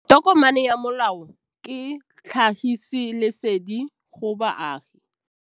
Tokomane ya molao ke tlhagisi lesedi go baagi.